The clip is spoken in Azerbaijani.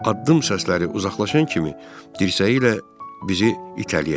Addım səsləri uzaqlaşan kimi dirsəyi ilə bizi itələyəcək.